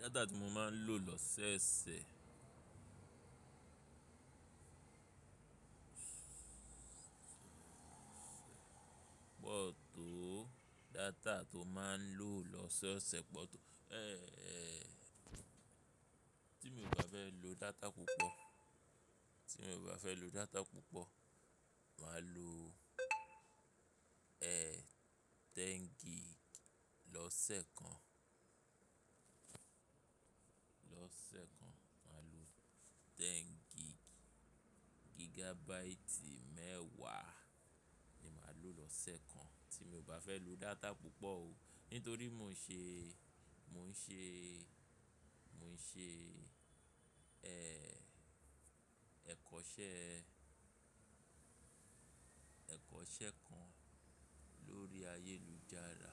Data tí mo máa ń lò lọ́ọsẹ̀ sẹ̀, pọ̀ tó data tó máa ń lò lọ́sẹ̀ sẹ́ pọ̀ tó. Ti mo ò bá fẹ́ lo data púpọ̀, ti mo ò bá fẹ́ lo data púpọ̀, màá lo, ẹ, ten gig lọ́sẹ̀ kan. Lọ́sẹ̀ kan màá lo ten gig, gigabyte mẹ́wàá ni màá lò lọ́sẹ̀ kan tí mo ò bá fẹ́ lo data púpọ̀ o. Nítorí mò ń ṣe, mò ń ṣe, mò ń ṣe, ẹ, ẹ̀kọ́ṣẹ́, ẹ̀kọ́ṣẹ́ kan lórí ayélujára.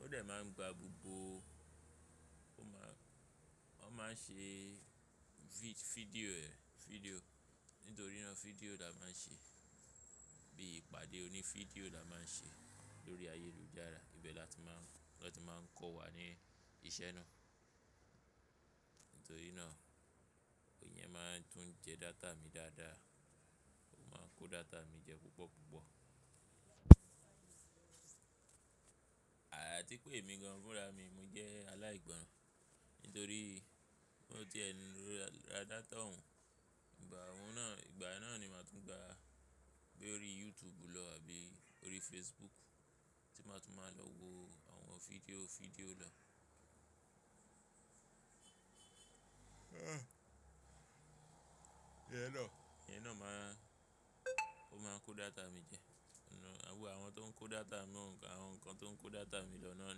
Ó dẹ̀ máa ń gba gbogbo, ó máa, wọ́n máa ń ṣe vid-fidio ẹ, fidio. Nítorí ná fidio la máa ń ṣe, bí ìpàdé òní fidio la máa ń ṣe lórí ayélujára. Ibẹ̀ lọ́ ti máa ń kọ́ wa ní ìṣe náà. Nítorí náà, ìyẹn máa ń tún jẹ data mi dáadáa, ó máa ń kó data mi jẹ púpọ̀ púpọ̀. Àti pé èmi gan fún ra mi, mo jẹ́ aláìgbọ́ran. Nítorí tó ti ẹnu dá tọ́ ọ̀ún, ìgbà ọ̀ún náà, ìgbà náà ni màá tún gba bí orí YouTube lọ àbí orí Facebook tí màá tún máa lọ wo àwọn fidio fidio lọ. Ìyẹn na, ìyẹn náà máa, ó máa ń kó data mi jẹ. Àwọn tó ń kó data mi wọ́n kàn, àwọn nǹkan tó ń kó data mi lọ náà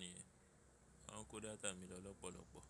nìyẹn. Wọ́n ń kó data mi lọ lọ́pọ̀lọpọ̀.